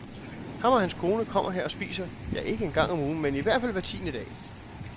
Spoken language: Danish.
Ham og hans kone kommer her og spiser, ja, ikke en gang om ugen, men i hvert fald hver tiende dag.